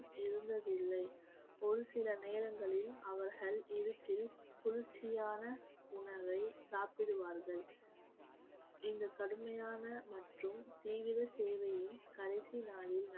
இருந்ததில்லை ஒரு சில நேரங்களில் அவர்கள் இருட்டில் குளிர்ச்சியான உணவை சாப்பிடுவார்கள் இந்த கடுமையான மற்றும் தீவிர சேவையின் கடைசி நாளில்